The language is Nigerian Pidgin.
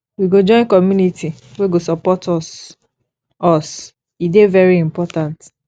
we go join community wey go support us us e dey very important